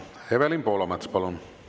Evelin Poolamets, palun!